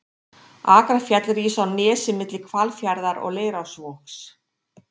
Akrafjall rís á nesi milli Hvalfjarðar og Leirárvogs.